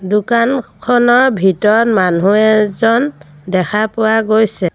দোকানখনৰ ভিতৰত মানুহ এজন দেখা পোৱা গৈছে।